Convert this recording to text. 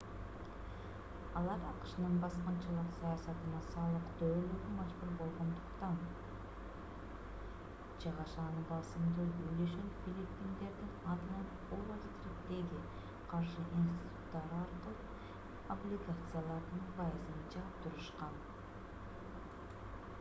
алар акшнын баскынчылык саясатына салык төлөөгө мажбур болгондуктан чыгашанын басымдуу үлүшүн филиппиндердин атынан уолл стриттеги каржы институттары аркылуу облигациялардын пайызын жаап турушкан